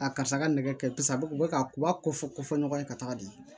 A karisa ka nɛgɛ kɛ a bɛ ka u ba ko fɔ ko fɔ ɲɔgɔn ye ka taga di